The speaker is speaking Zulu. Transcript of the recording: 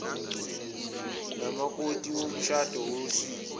nomakoti womshado wosiko